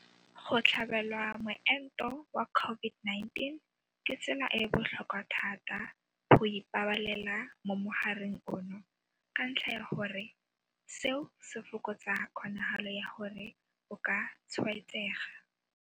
Go tlhabelwa moento wa COVID-19 ke tsela e e botlhokwa thata ya go ipabalela mo mogareng ono ka ntlha ya gore seo se fokotsa kgonagalo ya gore o ka tshwaetsega.